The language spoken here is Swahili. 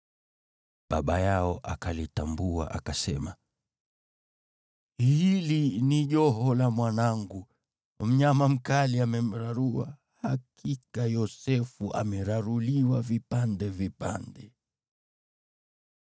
Baba yao akalitambua akasema, “Hili ni joho la mwanangu! Mnyama mkali amemrarua. Hakika Yosefu ameraruliwa vipande vipande.”